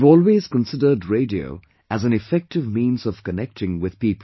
I have always considered Radio as an effective means of connecting with people